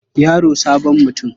Yaro sabon mutum.